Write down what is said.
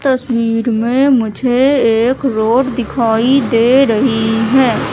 तस्वीर में मुझे एक रोड दिखाई दे रही है।